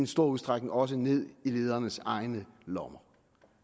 stor udstrækning også ned i ledernes egne lommer